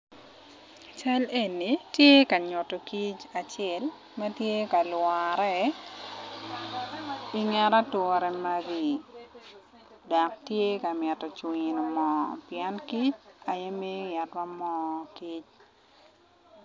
Cal eni tye ka nyutu kic acel ma tye ka lwore i nget ature magi dok tye ka mito cungu i moo pien kic aye miyo itwa moo kic